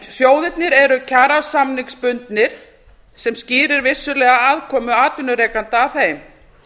sjóðirnir eru kjarasamningsbundnir sem skýrir vissulega aðkomu atvinnurekenda að þeim